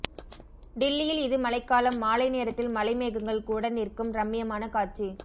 டில்லியில் இது மழைக்காலம் மாலை நேரத்தில் மழை மேகங்கள் கூட நிற்கும் ரம்மியமான காட்சி